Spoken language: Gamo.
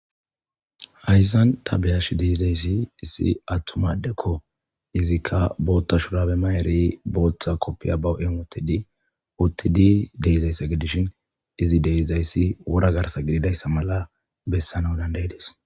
hayszan ta beyash deizayssi issi attumadekko izikka boothta shurabe mayeri booththa koppiya ba7eemotidi uttidi deyzayssa gidishin izi deyzayssi wora garsa gididayssa mala bessana dandaydis